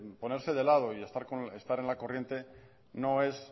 ponerse de lado y estar en la corriente